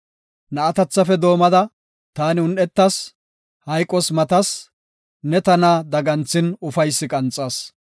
Na7atethafe doomada taani un7etas; hayqos matas; ne tana daganthin ufaysi qanxas.